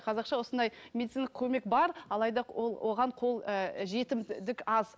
қазақша осындай медициналық көмек бар алайда ол оған қол ы жетімдік аз